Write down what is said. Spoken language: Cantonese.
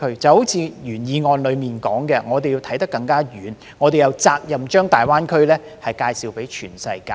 正如原議案所說，我們要看得更遠，我們有責任將大灣區介紹給全世界。